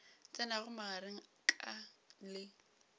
tsenago magareng a ka le